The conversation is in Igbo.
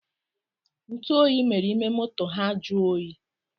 ntuoyi mere ime moto ha jụọ oyi